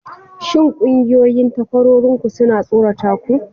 Shin ƙungiyoyin takwarorinku suna tsorata ku?